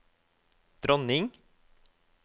dronning